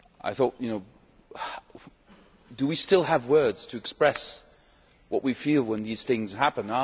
thought, do we still have words to express what we feel when these things happen?